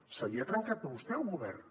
se li ha trencat a vostè el govern